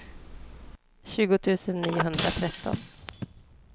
tjugo tusen niohundratretton